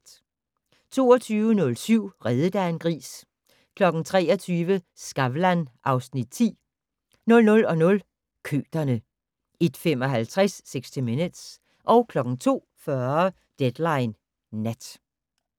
22:07: Reddet af en gris 23:00: Skavlan (Afs. 10) 00:00: Køterne 01:55: 60 Minutes 02:40: Deadline Nat